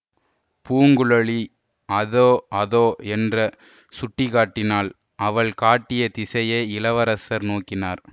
பூங்குழலி அதோ அதோ என்ற சுட்டிக்காட்டினாள் அவள் காட்டிய திசையை இளவரசர் நோக்கினார்